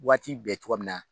Waati bɛɛ cogoya min na.